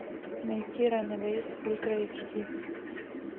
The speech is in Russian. найти ранэвэйс ультра эйч ди